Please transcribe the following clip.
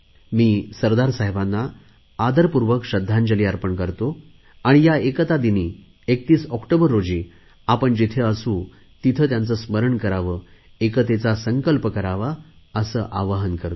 मी सरदार साहेबांना आदरपूर्वक श्रध्दांजली अर्पण करतो आणि या एकता दिनी 31 ऑक्टोबर रोजी आपण जिथे असू तिथे त्यांचे स्मरण करावे एकतेचा संकल्प करावा असे आवाहन करतो